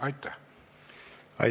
Aitäh!